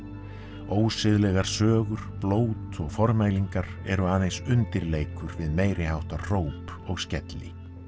ósiðlegar sögur blót og formælingar eru aðeins undirleikur við meiriháttar hróp og skelli